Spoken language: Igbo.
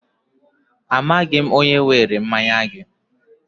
Amaghị m onye were mmanya gị.